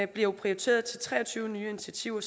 bliver prioriteret til tre og tyve nye initiativer